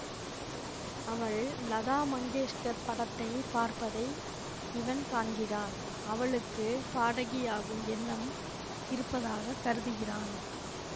அவள் லதா மங்கேஷ்கர் படத்தை பார்ப்பதை இவன் காண்கிறான் அவளுக்கு பாடகியாகும் எண்ணம் இருப்பதாக கருதுகிறான்